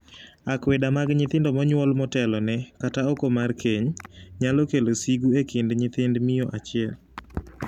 Akweda mag nyithindo monyuol motelone, kata oko mar keny, nyalo kelo sigu e kind nyithind miyo achiel.